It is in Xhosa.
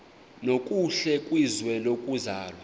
nokuhle kwizwe lokuzalwa